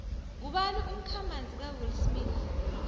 ngubani umkha manzi ka will smith